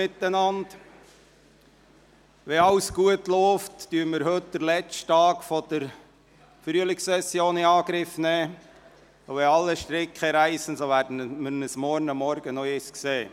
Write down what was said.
Wenn alles gut läuft, nehmen wir heute den letzten Tag der Frühlingssession in Angriff, und wenn alle Stricke reissen, werden wir uns morgen Vormittag noch einmal sehen.